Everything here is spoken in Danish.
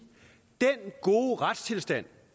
den gode retstilstand